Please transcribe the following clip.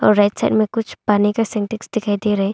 right side में कुछ पाने का सिंटेक्स दिखाई दे रहा--